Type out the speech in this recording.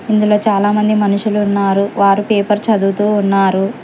ఇందులో చాలామంది మనుషులు ఉన్నారు వారు పేపర్ చదువుతూ ఉన్నారు.